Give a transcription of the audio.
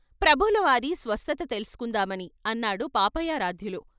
"ప్రభువులవారి స్వస్థత తెలుసుకుందామని" అన్నాడు పాపయారాధ్యులు.